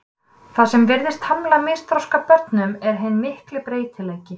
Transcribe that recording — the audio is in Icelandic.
Það sem virðist hamla misþroska börnum er hinn mikli breytileiki.